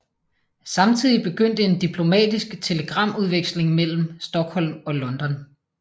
Samtidig begyndte en diplomatisk telegramudveksling mellem Stockholm og London